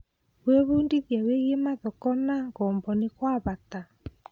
Gwĩbundithia wĩgiĩ mathoko na ngombo nĩ gwa bata?